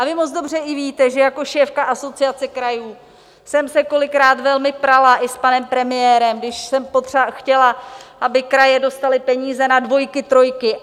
A vy moc dobře víte, že i jako šéfka Asociace krajů jsem se kolikrát velmi prala i s panem premiérem, když jsem chtěla, aby kraje dostaly peníze na dvojky, trojky.